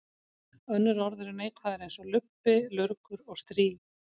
Önnur orð eru neikvæðari eins og lubbi, lurgur og strý.